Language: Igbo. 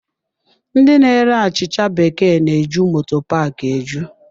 Ndị na-ere achịcha bekee na-eju moto paaki eju.